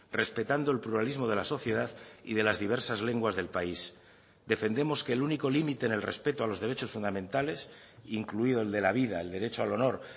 respetando el pluralismo de la sociedad y de las diversas lenguas del país defendemos que el único límite en el respeto a los derechos fundamentales incluido el de la vida el derecho al honor